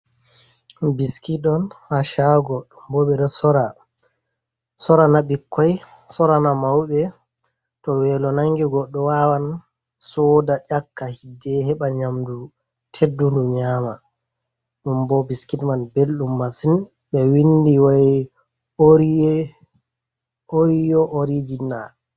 Biskit on haa shaago, bo ɓeɗo sora sorana bikkoi sorana mauɓe to weelo nangi goɗɗo wawan soda nyakka hidde heɓa nyamdu teddundu nyama, ɗum bo biskit man belɗum masin be windi wai oriye orijina.